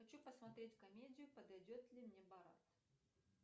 хочу посмотреть комедию подойдет ли мне борат